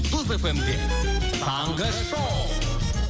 жұлдыз эф эм де таңғы шоу